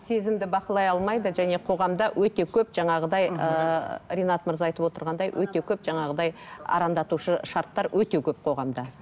сезімді бақылай алмайды және қоғамда өте көп жаңағыдай ыыы ринат мырза айтып отырғандай өте көп жаңағыдай арандатушы шарттар өте көп қоғамда